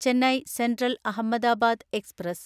Chennai central Ahmedabad express